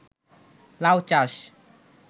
লাউ চাষ